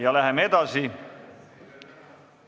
Ja läheme edasi.